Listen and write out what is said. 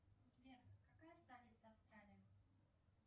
сбер какая столица австралии